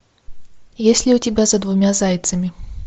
есть ли у тебя за двумя зайцами